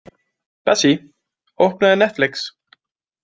Bessí, opnaðu Netflix.